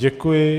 Děkuji.